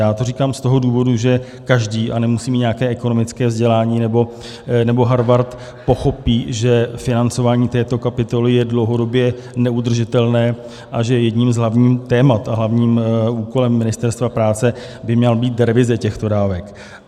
Já to říkám z toho důvodu, že každý, a nemusí mít nějaké ekonomické vzdělání nebo Harvard, pochopí, že financování této kapitoly je dlouhodobě neudržitelné a že jedním z hlavních témat a hlavním úkolem Ministerstva práce by měla být revize těchto dávek.